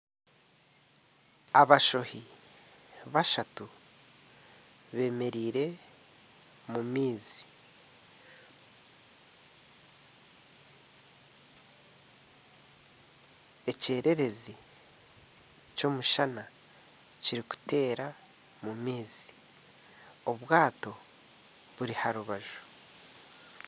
Abashohi bashatu bemereire omu maizi. Ekyererezi ky'omushana kirikutereera omu maizi. Obwato buri aha rubaju.